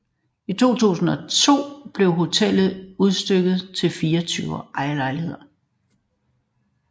I 2002 blev hotellet udstykket i 24 ejerlejligheder